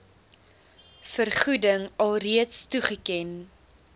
vergoeding alreeds toegeken